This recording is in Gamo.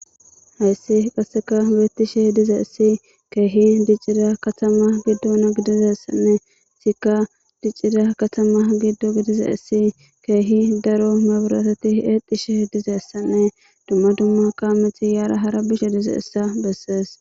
Hayssi qasseka weetishe dize essi keehi diccira katama giddona gidizessanne sika diccira katama giddo gidiza issi keehi daro meburatati eexishe dizeessanne dumma dumma kaameti yaara hara bishe dize issa bessees.